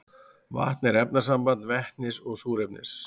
vatn er efnasamband vetnis og súrefnis